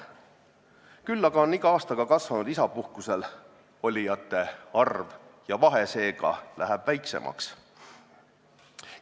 Küll aga on iga aastaga kasvanud isapuhkusel olijate arv ja seega läheb vahe väiksemaks.